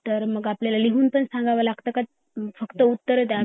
तर मग आपल्याला लिहुन पण सांगावं लगता का फक्त उत्तर द्यावी लागतात